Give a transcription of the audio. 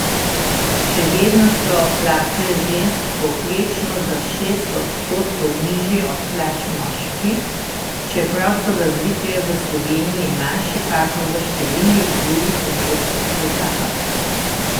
Še vedno so plače žensk povprečno za šest odstotkov nižje od plač moških, čeprav so razlike v Sloveniji manjše kakor v številnih drugih evropskih državah.